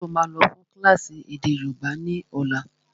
Ṣé ó máa lọ fún kílásì èdè yóòbá ni ọ̀la?